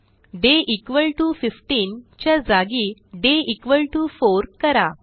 day 15 च्या जागी day 4 करा